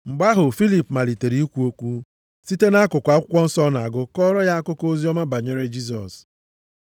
Mgbe ahụ, Filip malitere ikwu okwu, site nʼakụkọ akwụkwọ nsọ ọ na-agụ kọọrọ ya akụkọ oziọma banyere Jisọs.